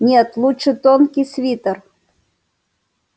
нет лучше тонкий свитер